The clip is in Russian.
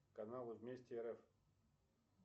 канал вместе рф